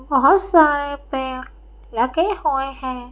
बहुत सारे पेड़ लगे हुए हैं।